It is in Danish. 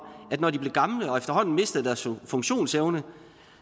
at når de blev gamle og efterhånden mistede deres funktionsevne